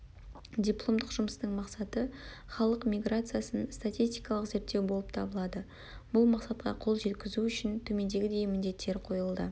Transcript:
дипломдық жұмыстың мақсаты-халық миграциясын статистикалық зерттеу болып табылады бұл мақсатқа қол жеткізу үшін төмендегідей міндеттер қойылды